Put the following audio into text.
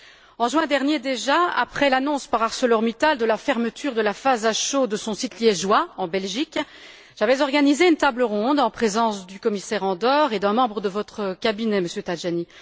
En juin dernier, déjà, après l'annonce par ArcelorMittal de la fermeture de la phase à chaud de son site liégeois, en Belgique, j'avais organisé une table ronde en présence du commissaire Andor et d'un membre de votre cabinet, Monsieur Tajani.